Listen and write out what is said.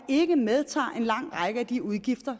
medtager en lang række af de udgifter